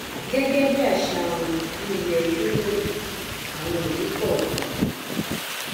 gẹgẹ bí àṣà wọn ní ilẹ yúróòpù àwọn ìlú kọọkan